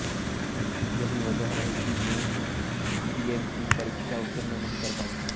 यही वजह रही कि मैं पीएमटी परीक्षा उत्तीर्ण नहीं कर पाई